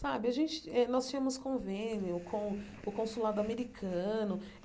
Saba a gente eh nós tínhamos convênio com o consulado americano.